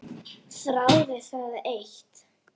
Þráði það eitt.